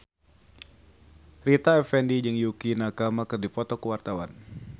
Rita Effendy jeung Yukie Nakama keur dipoto ku wartawan